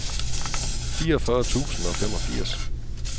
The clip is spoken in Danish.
fireogfyrre tusind og femogfirs